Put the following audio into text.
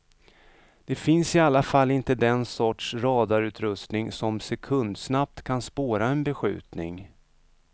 Det finns i alla fall inte den sorts radarutrustning som sekundsnabbt kan spåra en beskjutning.